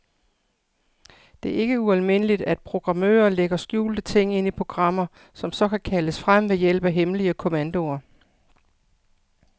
Det er ikke ualmindeligt, at programmører lægger skjulte ting ind i programmer, som så kan kaldes frem ved hjælp af hemmelige kommandoer.